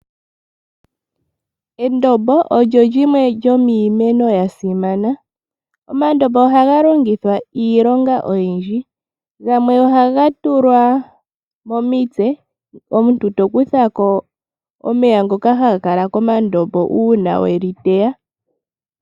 Endombo olyo lyimwe lyomiimeno ya simana. Omandombo ohaga longithwa iilonga oyindji. Gamwe ohaga tulwa momitse, omuntu to kutha ko omeya haga kala komandombo uuna weli teya.